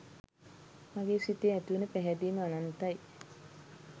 මගේ සිතේ ඇති වුන පැහැදීම අනන්තයි.